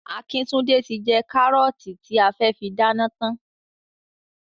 Akíntúndé ti jẹ kárọ́ọ̀tì tí a fẹ́ fi dáná tán.